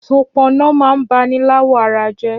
Ṣọpọnọ mà n bàní làwọ̀ àrà jẹ